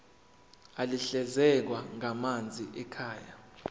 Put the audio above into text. ahlinzekwa ngamanzi ekhaya